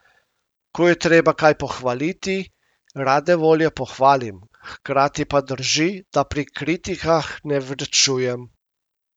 Ko je treba kaj pohvaliti, rade volje pohvalim, hkrati pa drži, da pri kritikah ne varčujem.